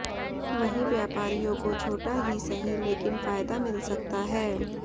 वहीं व्यापारियों को छोटा ही सही लेकिन फायदा मिल सकता है